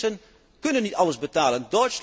De mensen kunnen niet alles betalen.